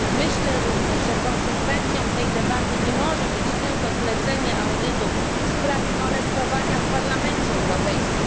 Myślę również, że konsekwencją tej debaty nie może być tylko zlecenie audytu w sprawie molestowania w Parlamencie Europejskim.